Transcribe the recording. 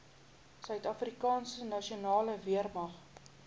suidafrikaanse nasionale weermag